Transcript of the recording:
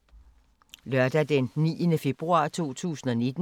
Lørdag d. 9. februar 2019